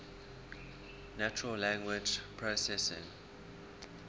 natural language processing